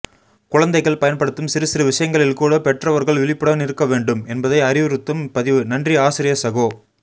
குழந்தைகள் பயன்படுத்தும் சிறுசிறு விஷயங்களில் கூட பெற்றவர்கள் விழிப்புடன் இருக்க வேண்டும் என்பதை அறிவுறுத்தும் பதிவு நன்றி ஆசிரிய சகோ